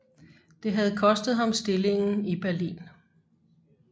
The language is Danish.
Det havde kostet ham stillingen i Berlin